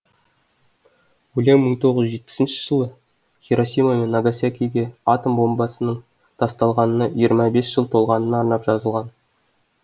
өлең мың тоғыз жүз жетпісінші жылы хиросима мен нагасакиге атом бомбасының тасталғанына жиырма бес жыл толғанына арнап жазылған